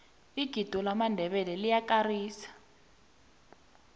igido lamandebele liyakarisa